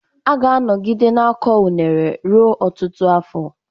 A ga-anọgide na-akọ unele ruo ọtụtụ afọ.